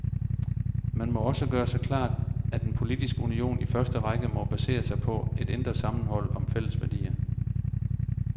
Man må også gøre sig klart, at en politisk union i første række må basere sig på et indre sammenhold om fælles værdier.